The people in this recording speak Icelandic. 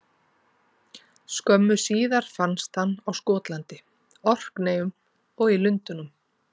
Skömmu síðar fannst hann á Skotlandi, Orkneyjum og í Lundúnum.